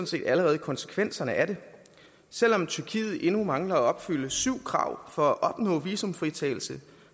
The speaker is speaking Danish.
set allerede konsekvenserne af det selv om tyrkiet endnu mangler at opfylde syv krav for at opnå visumfritagelse